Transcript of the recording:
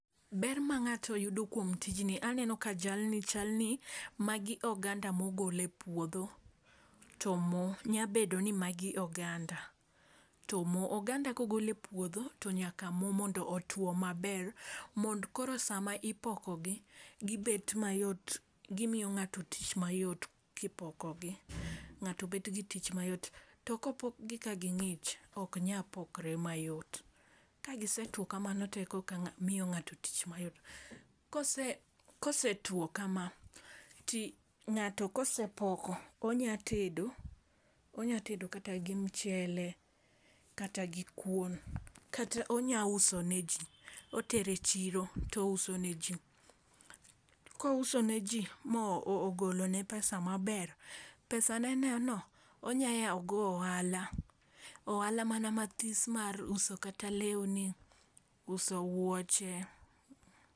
Ber ma ng'ato yudo kuom tijni aneno ka jalni chal ni magi oganda mogole puodho tomo nya bedo ni magi oganda tomoo. Oganda kogol e puodho nyaka moo mondo otwo maber mond koro sama ipoko gii gibet mayot gimiyo ng'ato tich mayot kipokogi ng'ato bet gi tich mayot. To kopok gi ka ging'ich ok nya pokre mayot, ka gisetwo kamano to ekoka miyo ng'ato tich mayot. Kosetwo kama to ng'ato kosepoko onya tedo onya tedo kata gi mchele kata gi kuon kata onya uso ne jii otere chiro touso ne jii. Kouso ne jii mogolo ne pesa maber pesa ne no onya yawo go ohala ohala mana mathis mar uso kata lewni, uso wuoche.